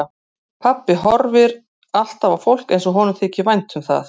Pabbi horfir alltaf á fólk eins og honum þyki vænt um það.